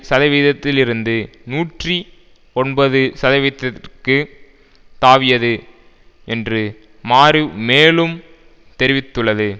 சதவீதத்திலிருந்து நூற்றி ஒன்பது சதவீதத்துக்கு தாவியது என்று மாரிவ் மேலும் தெரிவித்துள்ளது